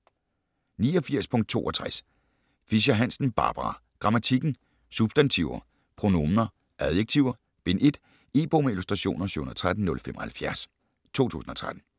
89.62 Fischer-Hansen, Barbara: Grammatikken: Substantiver, pronominer, adjektiver: Bind 1 E-bog med illustrationer 713075 2013.